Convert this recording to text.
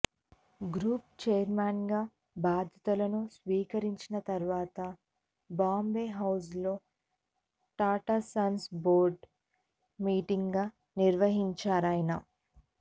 group chairman గా బాధ్యతలను స్వీకరించిన తర్వాత బాంబే హౌజ్ లో టాటా సన్స్ బోర్డు మీటింగ్ నిర్వహించారాయన